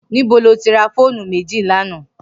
Nibó ló ti rà fónú méji lànã?